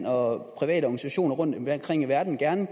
og private organisationer rundtomkring i verden gerne